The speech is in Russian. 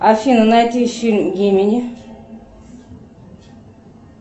афина найди фильм гимини